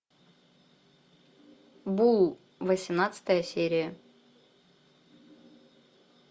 бул восемнадцатая серия